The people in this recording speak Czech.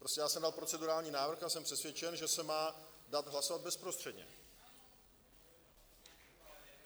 Prostě já jsem dal procedurální návrh a jsem přesvědčen, že se má dát hlasovat bezprostředně.